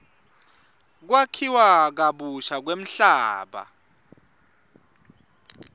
kwakhiwa kabusha kwemhlaba